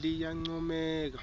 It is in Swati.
liyancomeka